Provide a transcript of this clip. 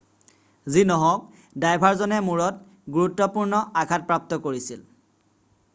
যি নহওঁক ড্ৰাইভাৰজনে মূৰত গুৰুত্বপূৰ্ণ আঘাত প্ৰাপ্ত কৰিছিল৷